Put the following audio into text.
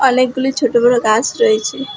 অনেকগুলি ছোট বড়ো গাছ রয়েছে।